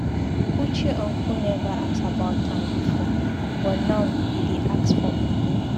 Uche uncle never ask about am before but now he dey ask for money.